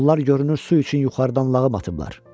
Onlar görünür su üçün yuxarıdan lağım atıblar.